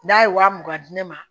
N'a ye waa mugan di ne ma